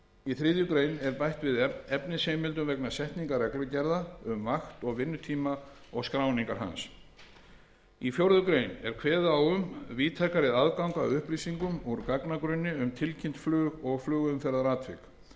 í þriðju grein er bætti við efnisheimildum vegna setningar reglugerða um vakt og vinnutíma og skráningar hans í fjórða grein er kveðið á um víðtækari aðgang að upplýsingum úr gagnagrunni um tilkynnt flug og flugumferðaratvik